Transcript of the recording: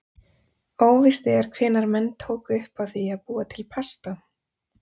Óvíst er hvenær menn tóku upp á því að búa til pasta.